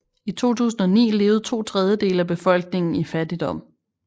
I 2009 levede to tredjedele af befolkningen i fattigdom